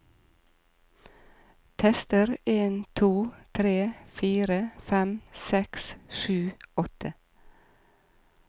Tester en to tre fire fem seks sju åtte